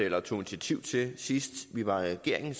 eller tog initiativ til sidst vi var i regering